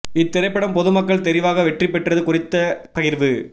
இத் திரைப்படம் பொது மக்கள் தெரிவாக வெற்றி பெற்றது குறித்த பகிர்வு